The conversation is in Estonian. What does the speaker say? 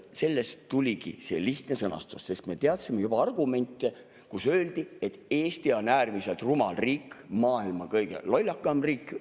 Sellest tuligi see lihtne sõnastus, sest me teadsime argumente, kus öeldi, et Eesti on äärmiselt rumal riik, maailma kõige lollakam riik.